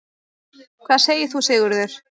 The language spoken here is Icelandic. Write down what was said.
Hvað segir þú, Sigurður?